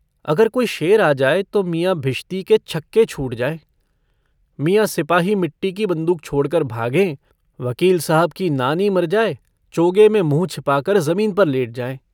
अगर कोई शेर आ जाए तो मियाँ भिश्ती के छक्के छूट जाएँ, मियाँ सिपाही मिट्टी की बन्दूक छोड़कर भागें, वकील साहब की नानी मर जाए चोगे में मुँह छिपाकर ज़मीन पर लेट जाएँ।